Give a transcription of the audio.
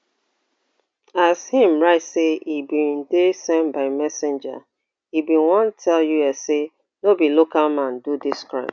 as im write say e bin dey send by messenger e bin wan tell us say no be local man do dis crime